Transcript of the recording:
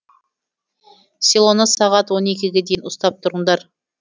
селоны сағат он екіге дейін ұстап тұрыңдар